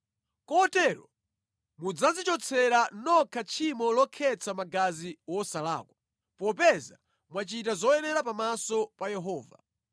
Kotero mudzadzichotsera nokha tchimo lokhetsa magazi wosalakwa, popeza mwachita zoyenera pamaso pa Yehova.